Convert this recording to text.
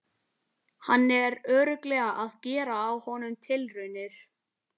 Hann er örugglega að gera á honum tilraunir!